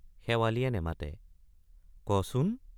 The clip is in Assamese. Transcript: শেৱালিয়ে নেমাতে কচোন?